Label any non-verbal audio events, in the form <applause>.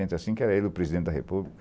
<unintelligible> e cinco, era ele o presidente da república.